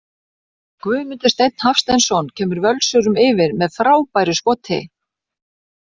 GUÐMUNDUR STEINN HAFSTEINSSON KEMUR VÖLSURUM YFIR MEÐ FRÁBÆRU SKOTI!